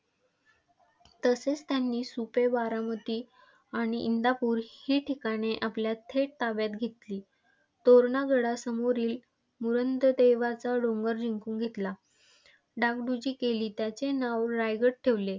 तसेच त्यांनी सुपे - बारामती आणि इंदापूर ही ठिकाणे आपल्या थेट ताब्यात घेतली. तोरणा गडासमोरील देवाचा डोंगर जिंकून घेतला. डागडुजी केली आणि त्याचे नाव रायगड ठेवले.